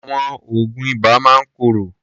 Àwọn oògùn ibà máa ń korò.